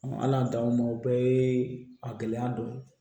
ala y'an taw ma o bɛɛ ye a gɛlɛya dɔ ye